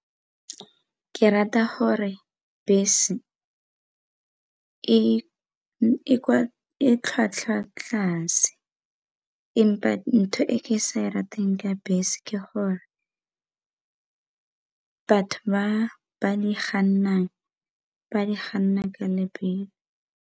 Ke rata gore bese e tlhwatlhwa tlase empa ntho e ke sa di rateng ka bese ke gore batho ba ba di ba di ka lebelo.